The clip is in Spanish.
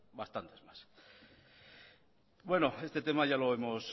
bastantes más bueno este tema ya lo hemos